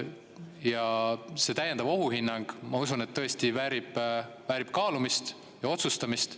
Ja see täiendav ohuhinnang, ma usun, tõesti väärib kaalumist ja otsustamist.